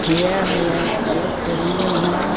यह यह एक रूम है.